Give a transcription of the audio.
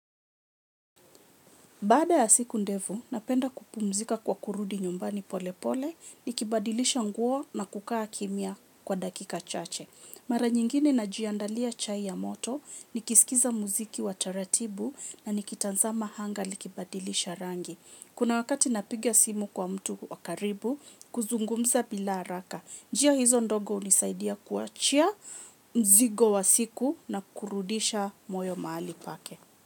Bada ya siku ndefu, napenda kupumzika kwa kurudi nyumbani pole pole, nikibadilisha nguo na kukaa kimya kwa dakika chache. Mara nyingine na jiandalia chai ya moto, nikisikiliza muziki wa taratibu na nikitazama hanga likibadilisha rangi. Kuna wakati napigia simu kwa mtu wakaribu, kuzungumza bila haraka. Njia hizo ndogo hunisaidia kuachia mzigo wa siku na kurudisha moyo mahali pake.